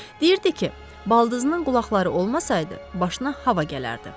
Deyirdi ki, baldızının qulaqları olmasaydı, başına hava gələrdi.